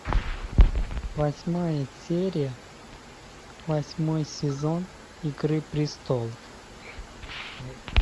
восьмая серия восьмой сезон игры престолов